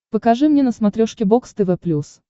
покажи мне на смотрешке бокс тв плюс